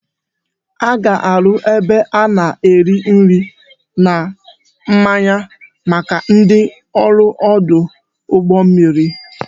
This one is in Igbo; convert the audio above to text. A ga-arụ ebe a na-ere nri na mmanya maka ndị ọrụ ọdụ ụgbọ mmiri